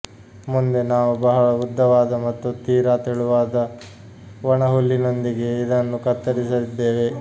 ಮುಂದೆ ನಾವು ಬಹಳ ಉದ್ದವಾದ ಮತ್ತು ತೀರಾ ತೆಳುವಾದ ಒಣಹುಲ್ಲಿನೊಂದಿಗೆ ಇದನ್ನು ಕತ್ತರಿಸಿದ್ದೇವೆ